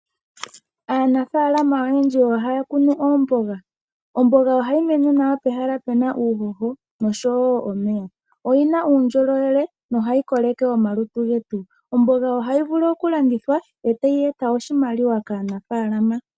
Aanafalama oyendji ohaya kunu oomboga. Omboga ohayi mene nawa pehala pu na uuhoho nosho wo omeya. Oyi na uundjolowele nohayi koleke omalutu getu. Omboga ohayi vulu okulandithwa e tayi eta oshimaliwa kaanafaalama.